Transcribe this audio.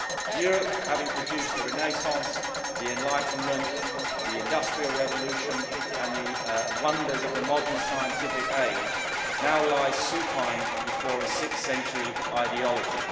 Europe, having produced the Renaissance, the Enlightenment, the Industrial Revolution and the wonders of the modern scientific age, now lies supine before a 6th century ideology.